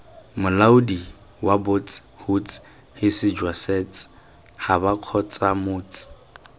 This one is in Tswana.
molaodi wabots huts hisijwasets habakgotsamots